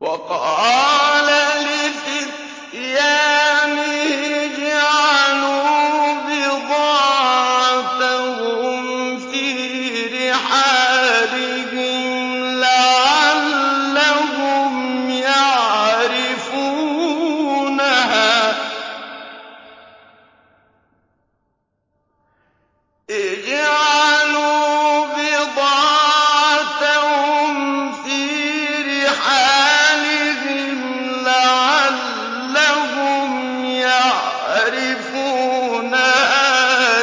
وَقَالَ لِفِتْيَانِهِ اجْعَلُوا بِضَاعَتَهُمْ فِي رِحَالِهِمْ لَعَلَّهُمْ يَعْرِفُونَهَا